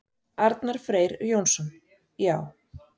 Arnar Freyr Jónsson: Já.